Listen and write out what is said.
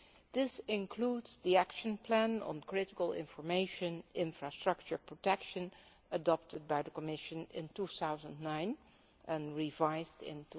This includes the Action Plan on Critical Information Infrastructure Protection adopted by the Commission in 2009 and revised in